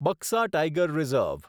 Buxa Tiger reserve